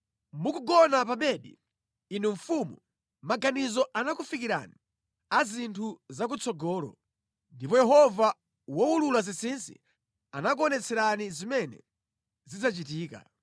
“Mukugona pa bedi, inu Mfumu, maganizo anakufikirani a zinthu zakutsogolo, ndipo Yehova wowulula zinsinsi anakuonetserani zimene zidzachitika.